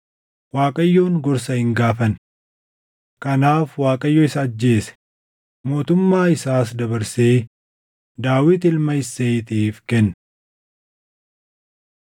Waaqayyoon gorsa hin gaafanne. Kanaaf Waaqayyo isa ajjeese; mootummaa isaas dabarsee Daawit ilma Isseeyiitiif kenne.